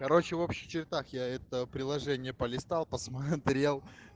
короче в общих чертах я это приложение полистал посмотрел